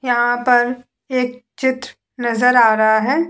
यहाँ पर एक चित्र नजर आ रहा है ।